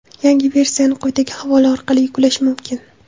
Yangi versiyani quyidagi havola orqali yuklash mumkin: .